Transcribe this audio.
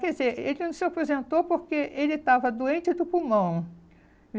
Quer dizer, ele não se aposentou porque ele estava doente do pulmão.